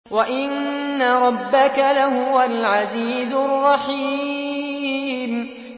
وَإِنَّ رَبَّكَ لَهُوَ الْعَزِيزُ الرَّحِيمُ